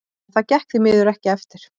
En það gekk því miður ekki eftir.